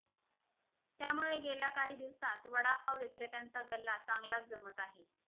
त्यामुळे गेल्या काही दिवसांत वडापाव विक्रेत्यांचा गल्ला चांगलाच जमत आहे